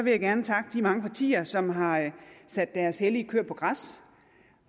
jeg gerne takke de mange partier som har sat deres hellige køer på græs